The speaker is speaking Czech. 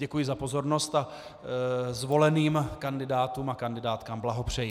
Děkuji za pozornost a zvoleným kandidátům a kandidátkám blahopřeji.